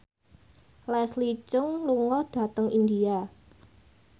Leslie Cheung lunga dhateng India